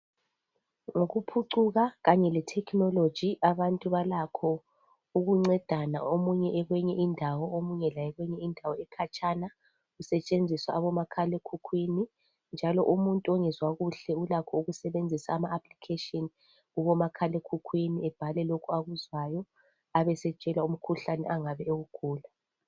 Ngokuphucuka kanye le technology abantu balakho ukuncedana omunye ekweyinye indawo, omunye laye ekweyinye indawo ekhatshana kusetshenziwa omakhalekhukhwini. Njalo umuntu ongezwa kuhle ulakho ukusebenzisa ama application a kubomakhalekhukhwini abhale lokho akuzwayo, abesetshelwa umkhuhlane angabe ewugula.